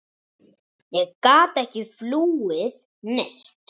Ég gat ekki flúið neitt.